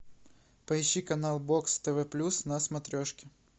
поищи канал бокс тв плюс на смотрешке